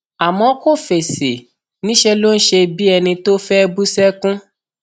àmọ kò fèsì níṣẹ ló ń ṣe bíi ẹni tó fẹẹ bú sẹkún